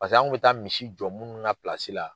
Pasek'an' kun bɛ taa misi jɔ munnu ŋa la